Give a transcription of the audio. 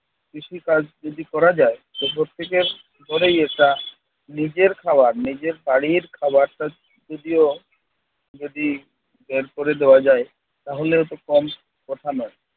কৃষিকাজ যদি করা যায় যে প্রত্যেকের ঘরেই একটা নিজের খাওয়া নিজের বাড়ির খাওয়ারটা যদিও যদি বের করে দেয়া যায় তাহলেও তো কম কথা নয়।